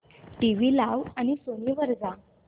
TV लाव आणि Sony वर जा